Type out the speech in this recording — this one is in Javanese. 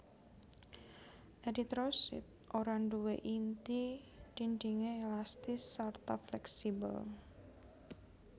Eritrosit ora nduwé inti dhindhingé elastis sarta fleksibel